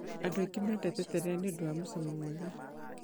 Andũ aingĩ mendete terere nĩ ũndũ wa mũcamo mwega